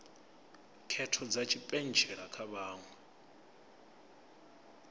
khetho dza tshipentshela kha vhaṅwe